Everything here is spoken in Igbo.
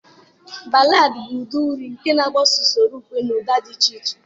Ballad bụ ụdị uri nke na-agbaso usoro ukwe na ụda dị iche iche.